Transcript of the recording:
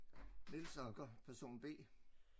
Niels Anker person B